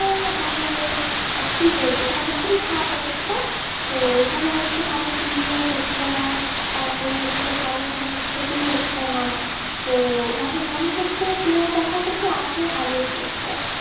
যে মানে কি বলবো মানে খুবই খারাপ অবস্থা তো এখানে হচ্ছে ভালো বিনিয়োগ হচ্ছে না, তারপর হচ্ছে ভালো মানে ছবি হচ্ছে না, তো মানে মানুষ হচ্ছে cinema দেখার প্রতি আগ্রহ হারিয়ে ফেলছে।